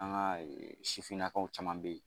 An ka sifinnakaw caman bɛ ye